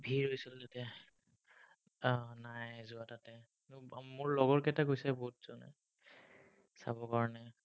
ভিৰ হৈছিল তেতিয়া। উম নাই যোৱা তাতে। গম পাঁও তাতে, মোৰ লগৰ কেইটা গৈছে বহুত, যোৱা নাই চাবৰ কাৰণে।